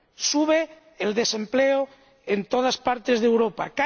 Sube el desempleo en todas partes de Europa.